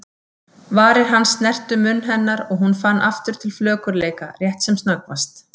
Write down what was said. Varir hans snertu munn hennar og hún fann aftur til flökurleika, rétt sem snöggvast.